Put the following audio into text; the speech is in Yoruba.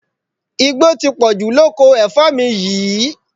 Igbó ti pọ̀jù lóko ẹ̀fọ́ mi yìí